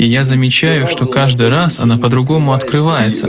я замечаю что каждый раз она по-другому открывается